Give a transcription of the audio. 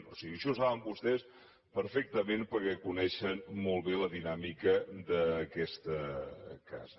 o sigui això ho saben vostès perfectament perquè coneixen molt bé la dinàmica d’aquesta casa